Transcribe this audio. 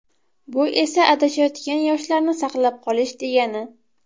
Bu esa adashayotgan yoshlarni saqlab qolish, degani.